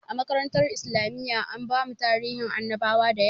A makarantar islamiyya an bamu tarihin annabawa dayawa